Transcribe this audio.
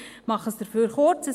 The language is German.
Ich mache es dafür kurz: